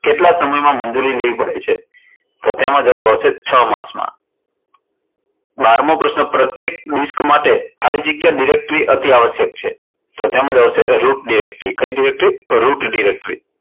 કેટલા સમય માં મંજૂરી લેવી પડે છે? તો તેમાં જવાબ આવશે છ માસ માં બારમો પ્રશ્ન, પ્રત્યેક ડિસ્ક માટે ખાલી જગ્યા directory અતિ આવશ્યક છે? તો તેમાં જવાબ આવશે root directory કઈ directory root directory